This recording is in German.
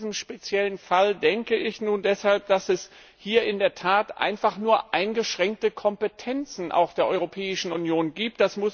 Und in diesem speziellen Fall denke ich nun deshalb, dass es hier in der Tat einfach nur eingeschränkte Kompetenzen, auch der Europäischen Union, gibt.